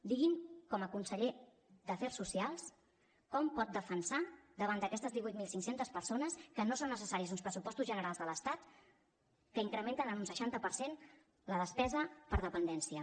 digui’m com a conseller d’afers socials com pot defensar davant d’aquestes divuit mil cinc cents persones que no són necessaris uns pressupostos generals de l’estat que incrementen en un seixanta per cent la depesa per dependència